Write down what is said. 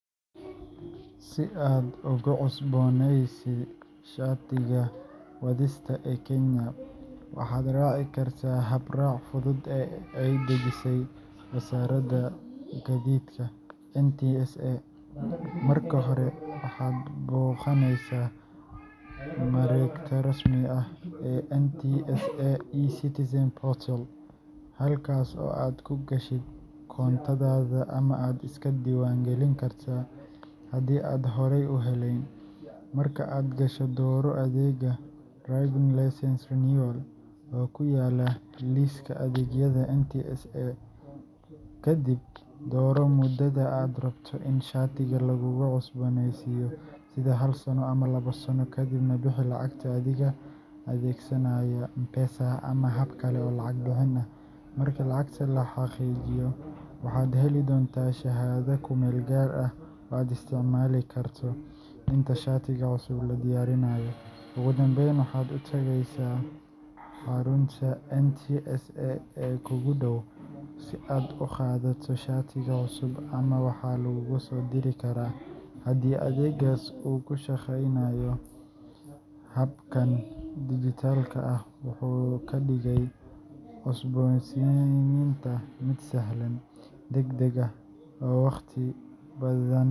Si aad uga cusboneysi shatiga wadista ee kenya, waxad racii karta hab rac fudud ee ay udajisay wasarada gadidka ntsa marka hore waxad boganeysa marogta rasmiga ah ee ntsa e- citizen portal halkas oo aad kugashit koontada ama aad iskadiwan galin karta, hadi aad horey uhelen, marka aad gasho doro adega driving licences renewal, oo kuyala liska adeyada ntsa kadib doroo mudada aad rabto in shatiga lagulacusboneysiyo, sida hal sano ama labo sano, kadibna bixi lacagta adhiga adegsanayo m-pesa ama habkale oo lacag bihiin ah, marka lacagta lahagijiyo waxad heli donta shahada kumel gaar ah, oo aad isticmali karto inta shatiga cusub lagudiyarinayo, ogudambeyn waxad utageysa harunta ntsa ee kukudow si aad ugadato shatiga cusub amaba waha lagugusodiri kara, hadii adegas uu kushageynayo habkan digital ah wuxu kadigey cusboneysinta mid sahalan, dagdag ah oo wagti badan.